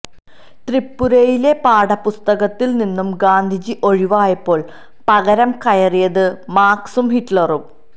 ത്രിപുരയിലെ പാഠപുസ്തകത്തിൽ നിന്നും ഗാന്ധിജി ഒഴിവായപ്പോൾ പകരം കയറിയത് മാർക്സും ഹിറ്റ്ലറും